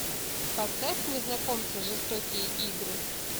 поставь незнакомцы жестокие игры